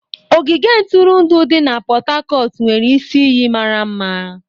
Ogige ntụrụndụ di na Pot Tarcot nwere isi iyi mara mma.